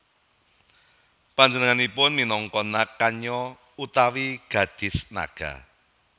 Panjenenganipun minangka Nag Kanya utawi gadhis naga